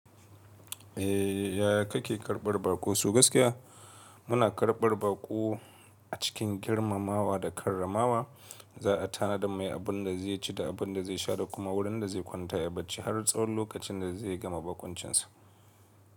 Eh. Yaya kake karɓar baƙo so gaskiya? Muna karbar bako a cikin girmamawa da karramawa Za a tanadar mai abin da zai ci da abin da zai sha da kuma wurin da zai kwanta yayi bacci har tsahon lokacin da zai gama baƙuncinsa.